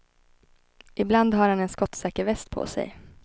Ibland har han en skottsäker väst på sig.